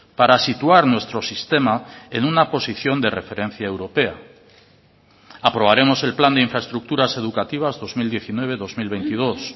para situar nuestro sistema en una posición de referencia europea aprobaremos el plan de infraestructuras educativas dos mil diecinueve dos mil veintidós